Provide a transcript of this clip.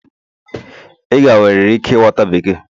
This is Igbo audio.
Ị ga-enwerịrị ike ịghọta Bekee